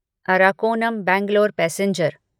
Arakkonam Bangalore passenger